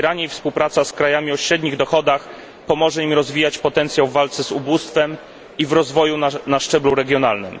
Współpraca z krajami o średnich dochodach i ich wspieranie pomoże im rozwijać potencjał w walce z ubóstwem i w rozwoju na szczeblu regionalnym.